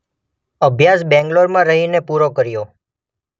અભ્યાસ બેંગલોરમાંરહી ને પુરો કર્યો.